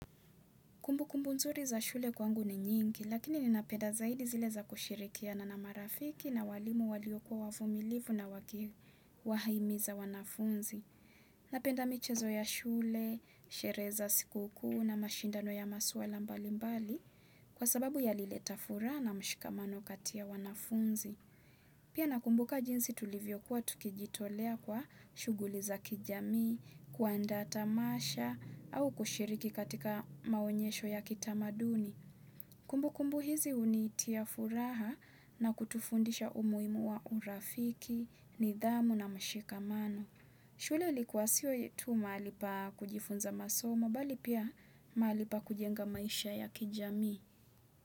Kumbu kumbu nzuri za shule kwangu ni nyingi, lakini ninapenda zaidi zile za kusherekeana na marafiki na walimu walio kwa wavumilivu na wakiwa haimiza wanafunzi. Napenda michezo ya shule, sherehe za siku kuu na mashindano ya maswala mbali mbali kwa sababu yalileta furaha na mshikamano kati ya wanafunzi. Pia nakumbuka jinsi tulivyokuwa tukijitolea kwa shuguli za kijamii, kuandaa tamasha au kushiriki katika maonyesho ya kitamaduni. Kumbu kumbu hizi unitia furaha na kutufundisha umuhimu wa urafiki, nidhamu na mshikamano. Shule ilikuwa sio yetu mahali pa kujifunza masomo bali pia mahali pa kujenga maisha ya kijamii.